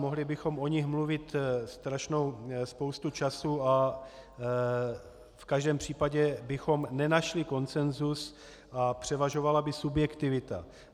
Mohli bychom o nich mluvit strašnou spoustu času a v každém případě bychom nenašli konsenzus a převažovala by subjektivita.